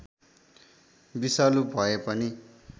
विषालु भए पनि